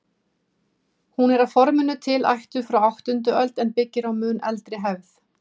Hún er að forminu til ættuð frá áttundu öld en byggir á mun eldri hefð.